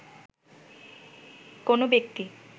কোন ব্যক্তি